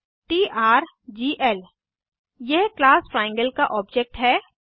TRGL यह class triangle का object है